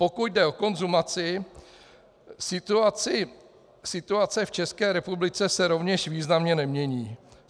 Pokud jde o konzumaci, situace v České republice se rovněž významně nemění.